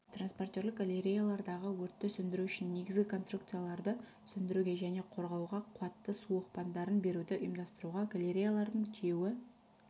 транспортерлік галереялардағы өртті сөндіру үшін негізгі конструкцияларды сөндіруге және қорғауға қуатты су оқпандарын беруді ұйымдастыруға галереялардың тиеуі